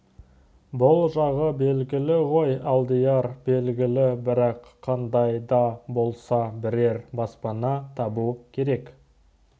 бұл жағы белгілі ғой алдияр белгілі бірақ қандай да болса бірер баспана табу керек